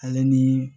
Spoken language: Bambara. Ale ni